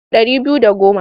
Ɗari biyu da goma.